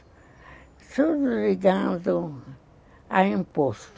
Tudo ligado a imposto.